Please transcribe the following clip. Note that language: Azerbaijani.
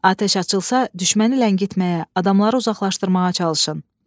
Atəş açılsa düşməni ləngitməyə, adamları uzaqlaşdırmağa çalışın.